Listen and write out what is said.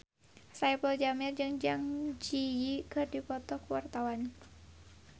Saipul Jamil jeung Zang Zi Yi keur dipoto ku wartawan